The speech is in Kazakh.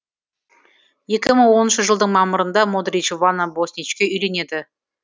екі мың оныншы жылдың мамырында модрич вана босничке үйленеді